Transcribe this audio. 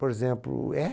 Por exemplo, é?